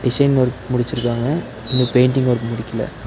Design work முடிச்சிருக்காங்க இன்னும் painting work முடிக்கில.